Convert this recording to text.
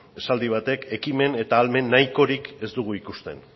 esaldi batek ekimen eta ahalmen nahikorik ez dugu ikusten